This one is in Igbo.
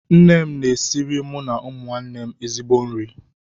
Nne m na-esiri mụ na ụmụnne m ezigbo nri